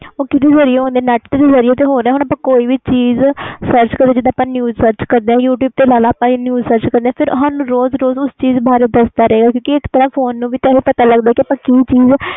ਉਹ ਕੀਦੇ ਜਰੀਏ ਹੋਣ ਦਿਆਂ net ਦੇ ਜ਼ਰੀਏ ਤੇ ਹੋ ਰਹੇ ਹੁਣ ਆਪਾ ਕੋਈ ਵੀ ਚੀਜ਼ sarch ਕਰੀਏ ਜੀਦਾ news sarch ਕਰਦੇ youtube ਰੋਜ਼ ਰੋਜ਼ ਉਸ ਚੀਜ਼ ਬਾਰੇ ਦਸ ਦਾ ਰਹੇ ਗਏ ਕਿਉਕਿ ਇਸ ਤਰਾਂ ਫੋਨ ਨੂੰ ਪਤਾ ਲਗਦਾ ਕਿ ਆਪਾ ਕਿ ਚੀਜ਼